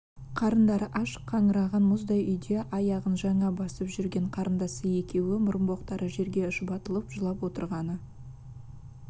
қарындары аш қаңыраған мұздай үйде аяғын жаңа басып жүрген қарындасы екеуі мұрынбоқтары жерге шұбатылып жылап отырғаны